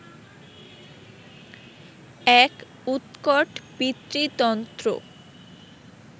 এক উৎকট পিতৃতন্ত্র